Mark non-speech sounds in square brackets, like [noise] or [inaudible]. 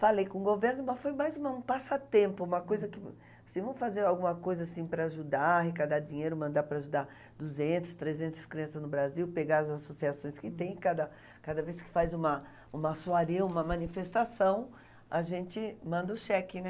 Falei com o governo, mas foi mais uma um passatempo, uma coisa que... Se vamos fazer alguma coisa assim para ajudar, arrecadar dinheiro, mandar para ajudar duzentas, trezentas crianças no Brasil, pegar as associações que tem, cada cada vez que faz uma, [unintelligible] uma manifestação, a gente manda o cheque, né?